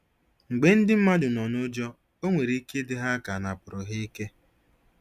Mgbe ndị mmadụ nọ n'ụjọ, o nwere ike ịdị ha ka anapụrụ ha ike.